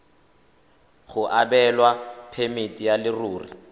go abelwa phemiti ya leruri